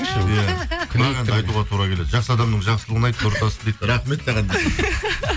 айтуға тура келеді жақсы адамның жақсылығын айт нұры тасысын дейді рахмет саған